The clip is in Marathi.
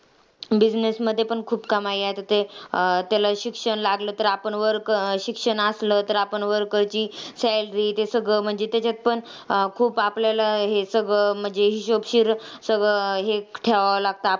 Business मध्ये पण खूप कमाई आहे. आता ते अं त्याला शिक्षण लागलं तर आपण वरक शिक्षण आसलं तर आपण worker ची salary ते सगळं, म्हणजे त्याच्यात पण अं खूप आपल्याला हे सगळं म्हणजे हिशोबशीर सगळं अं हे ठेवावं लागतं.